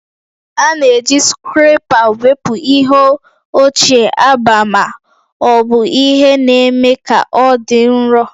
A na-eji scraper wepụ ihe ochie agba ma ọ bụ ihe na-eme ka ọ dị nro